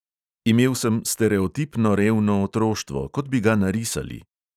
Imel sem stereotipno revno otroštvo, kot bi ga narisali.